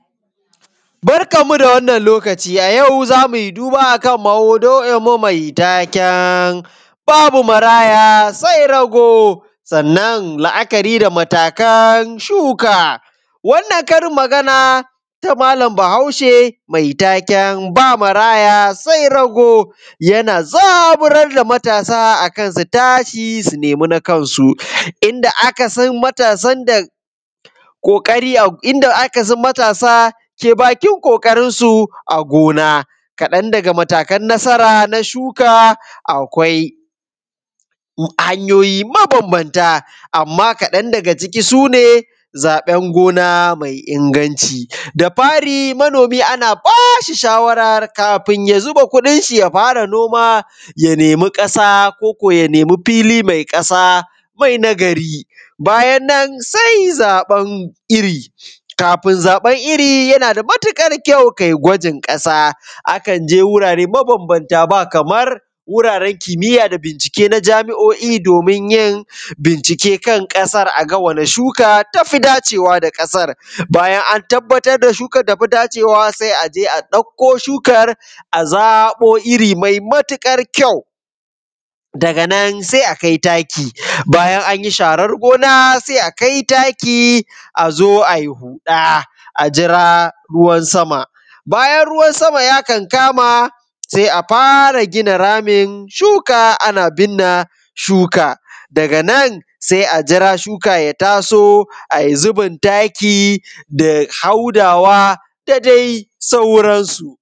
Barkanmu da wannan lokaci a yau zamu yi duba a kan maudu’inmu babu maraya sai rago, sannan la’akari da matakan suka. Wannan karin magana ta malam Bahaushe mai taken ba maraya sai rago, yana zaburar da matasa a kan su tashi su nemi na kansu, inda aka san matasan da ƙoƙari, inda aka san matasa ke bakin ƙoƙarin su a gona. Kaɗan daga matakan nasara na shuka akwai Hanyoyi mabambamta, amma kaɗan daga ciki su ne: Zaɓen gona mai inganci, da fari manomi ana bashi shawarar kafin ya zuba kuɗin ya fara noma ya nemi ƙasa, koko ya nemi fili mai ƙasa mai nagari. Bayan nan sai zaɓan iri, kafin zaɓan iri yana da matuƙar kyau kai gwajin ƙasa, a kan je wurare bambamta ba kamar wuraren kimiya da bincike na jami’o’i domin yin bincike kan ƙasar, aga wani shuka tafi dacewa da ƙasar. Bayan an tabbatar da shukan data fi dacewa sai aje a ɗauko shukar a zabo iri mai matuƙar kyau, daga nan sai akai taki. Bayan anyi sharar gona sai a kai taki a zo ai huɗa a jira ruwan sama, bayan ruwan sama ya kankama sai a fara gina ramin shuka ana binne shuka, daga nan sai a jira shuka ya taso ai zubin taki da haudawa da dai sauransu.